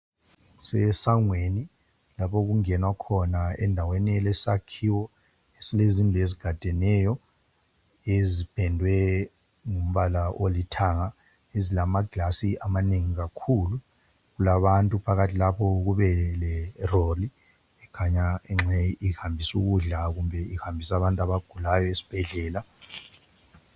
Kusesangweni lapho okungenwa khona. endaweni elesakhiwo, Esile zindlu ezigadeneyo. Ezipendwe ngombala olithanga. Ezilamaglasi amanengi kakhulu! Kulabantu phakathi lapho Kubeleroli, ekhanya, engxenye ihambisa ukudla, kumbe ihambisa abantu abagulayo esibhedlela.